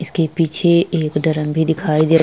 इसके पीछे एक ड्रम भी दिखाई दे --